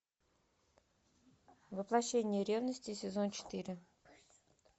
воплощение ревности сезон четыре